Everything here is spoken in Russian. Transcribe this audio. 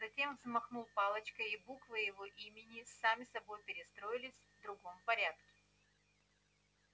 затем взмахнул палочкой и буквы его имени сами собой перестроились в другом порядке